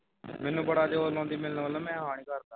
ਮੈਨੂੰ ਬੜਾ ਜ਼ੋਰ ਲਾਉਂਦੀ ਮਿਲਣ ਵਾਸਤੇ ਮੈਂ ਹਾਂ ਨਹੀਂ ਕਰਦਾ